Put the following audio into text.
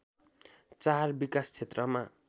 चार विकास क्षेत्रमा